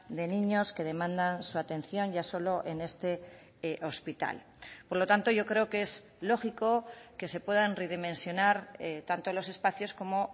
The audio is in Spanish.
de niños que demandan su atención ya solo en este hospital por lo tanto yo creo que es lógico que se puedan redimensionar tanto los espacios como